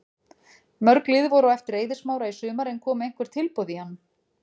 Mörg lið voru á eftir Eiði Smára í sumar en komu einhver tilboð í hann?